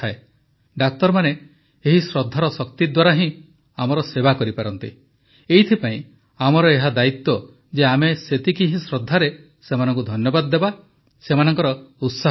ଡାକ୍ତରମାନେ ଏହି ଶ୍ରଦ୍ଧାର ଶକ୍ତି ଦ୍ୱାରା ହିଁ ଆମର ସେବା କରିପାରନ୍ତି ଏଇଥିପାଇଁ ଆମର ଏହା ଦାୟିତ୍ୱ ଯେ ଆମେ ସେତିକି ହିଁ ଶ୍ରଦ୍ଧାରେ ସେମାନଙ୍କୁ ଧନ୍ୟବାଦ ଦେବା ସେମାନଙ୍କର ଉତ୍ସାହ ବଢ଼ାଇବା